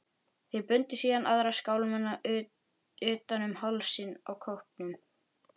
Þeir bundu síðan aðra skálmina utan um hálsinn á kópnum.